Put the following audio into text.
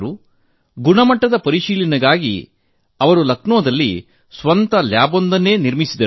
ಅದರ ಗುಣಮಟ್ಟದ ಪರಿಶೀಲನೆಗಾಗಿ ಲಕ್ನೋದಲ್ಲಿ ಅವರು ಸ್ವಂತ ಪ್ರಯೋಗಾಲಯ ಸ್ಥಾಪಿಸಿದರು